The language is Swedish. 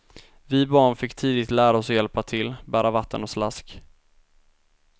Vi barn fick tidigt lära oss att hjälpa till, bära vatten och slask.